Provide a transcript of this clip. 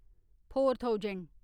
four thousand